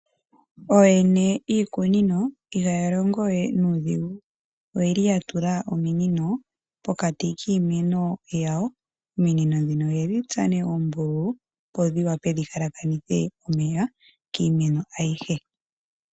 Ooyene yiikunino ihaa longowe nuudhigu, oshoka oye li haa tula ominino pokati kiimeno dha tsuwa oombululu opo dhi wape dhi tekele iimeno ayihe.